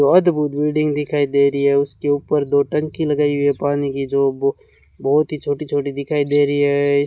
बहुत बड़ी बिल्डिंग दिखाई दे रही है उसके ऊपर दो टंकी लगाई हुई है पानी की जो वो बहुत ही छोटी छोटी दिखाई दे रही है।